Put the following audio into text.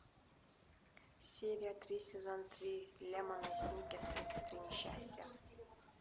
серия три сезон три лемони сникет тридцать три несчастья